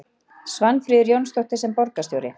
Svanfríður Jónsdóttir: Sem borgarstjóri?